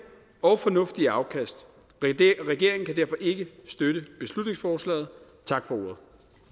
og fornuftige afkast regeringen kan derfor ikke støtte beslutningsforslaget tak for ordet